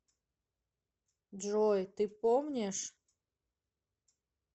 джой ты помнишь